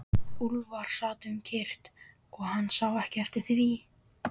Úlfar sat um kyrrt og hann sá ekki eftir því.